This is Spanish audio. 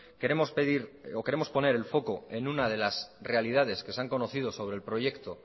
queremos pedir o queremos poner el foco en una de las realidades que se han conocido sobre el proyecto